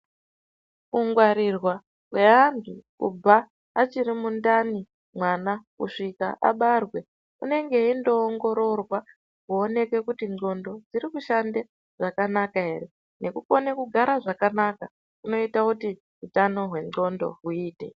Kungwarirwa kweantu kubva achiri mundani mwana kusvika abarwe unenge eindoongororwa kuoneke kuti ndxondo dziri kushande zvakanaka ere, nekukone kugara zvakanaka kunoita kuti utano hwenondxo huite.